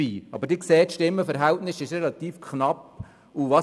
Sie sehen, dass das Stimmenverhältnis relativ knapp war.